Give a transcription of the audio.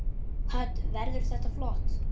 Hödd: Verður þetta flott?